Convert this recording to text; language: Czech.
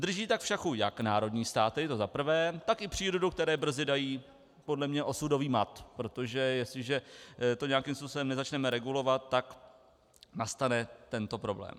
Drží tak v šachu jak národní státy, to zaprvé, tak i přírodu, které brzy dají podle mě osudový mat, protože jestliže to nějakým způsobem nezačneme regulovat, tak nastane tento problém.